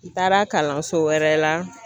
N taara kalanso wɛrɛ la